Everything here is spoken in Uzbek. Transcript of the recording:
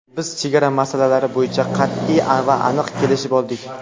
Biz chegara masalalari bo‘yicha qat’iy va aniq kelishib oldik.